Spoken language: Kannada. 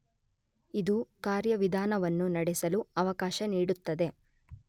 ಇದು ಕಾರ್ಯವಿಧಾನವನ್ನು ನಡೆಸಲು ಅವಕಾಶ ನೀಡುತ್ತದೆ.